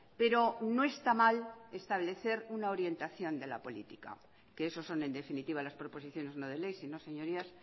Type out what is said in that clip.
pero no está mal establecer una orientación de la política que eso son en definitiva las proposiciones no de ley sino señorías